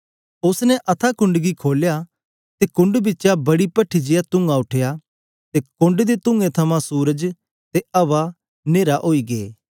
उस्स ने अथाह कुंड गी खोलया ते कुंड बिचा बड़ी पठ्ठी जेया तुंआ उठया ते कुंड दे तूंऐं थमां सूरज ते अवा नेरे ओई गै